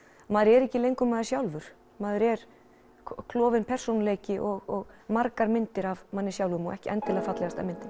maður er ekki lengur maður sjálfur maður er klofinn persónuleiki og margar myndir af manni sjálfum og ekki endilega fallegasta myndin